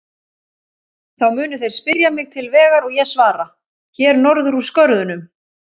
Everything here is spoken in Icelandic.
Þá munu þeir spyrja mig til vegar og ég svara: Hér norður úr skörðunum.